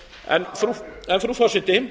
í þjóðaratkvæði hvaða evru frú forseti